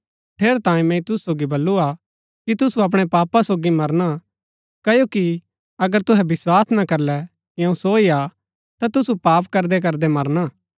ठेरैतांये मैंई तूसु सोगी वलु हा कि तुसु अपणै पापा सोगी मरणा क्ओकि अगर तूहै विस्वास ना करलै कि अऊँ सो ही हा ता तूसु पाप करदै करदै मरणा